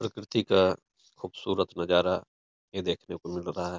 प्रकृति का खुबसूरत नजारा ये देखने को मिल रहा --